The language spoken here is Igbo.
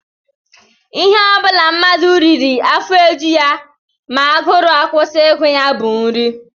Ihe ọ bụla mmadụ riri afọ eju ya ma agụrụ akwụsị ịgụ ya bụ nri